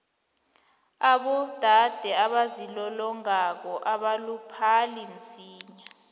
abodade abazilolongako abaluphali msinya